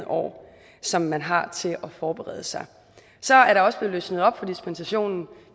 år som man har til at forberede sig så er der også blevet løsnet op for dispensationen